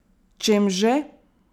Čem že?